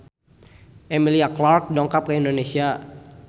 Emilia Clarke dongkap ka Indonesia